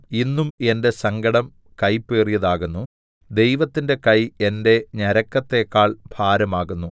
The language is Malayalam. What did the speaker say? ഇന്നും എന്റെ സങ്കടം കയ്പേറിയതാകുന്നു ദൈവത്തിന്റെ കൈ എന്റെ ഞരക്കത്തേക്കാൾ ഭാരമാകുന്നു